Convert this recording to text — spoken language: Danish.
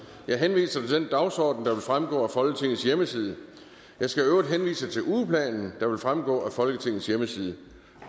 jeg henviser til den dagsorden der vil fremgå af folketingets hjemmeside jeg skal i øvrigt henvise til ugeplanen der vil fremgå af folketingets hjemmeside